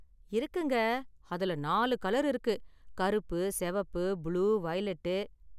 இருக்குங்க, அதுல நாலு கலர் இருக்கு கருப்பு, சிவப்பு, புளூ, வயலெட்.